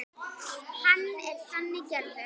Hann er þannig gerður.